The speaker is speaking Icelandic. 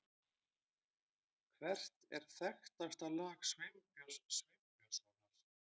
Hvert er þekktasta lag Sveinbjörns Sveinbjörnssonar?